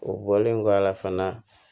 O bɔlen kɔ a la fana